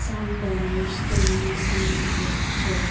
some banners can be seen in the picture.